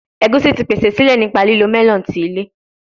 Egusi ti pese sile nipa lilo melon ti ilẹ